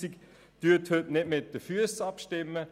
Stimmen Sie heute nicht mit den Füssen ab;